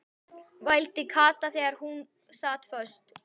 vældi Kata þar sem hún sat föst.